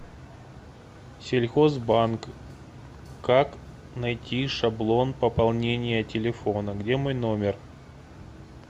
сельхозбанк как найти шаблон пополнения телефона где мой номер